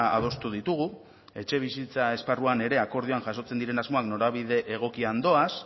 adostu ditugu etxebizitza esparruan ere akordioan jasotzen diren asmoak norabide egokian doaz